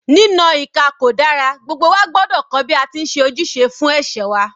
Ní na ìka kò dára, gbogbo wa gbọ́dọ̀ kọ́ bí a ti ń ṣe ojúṣe fún ẹ̀ṣẹ̀ wa.